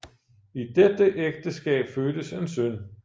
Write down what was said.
I dette ægteskab fødtes en søn